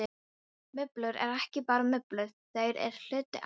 Mublur eru ekki bara mublur, þær eru hluti af.